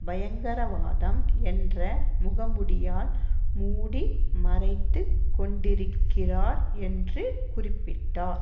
பயங்கரவாதம் என்ற முக மூடியால் மூடி மறைத்து கொண்டிருக்கிறார் என்று குறிப்பிட்டார்